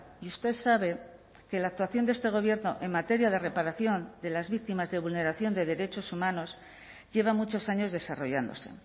y usted sabe que la actuación de este gobierno en materia de reparación de las víctimas de vulneración de derechos humanos lleva muchos años desarrollándose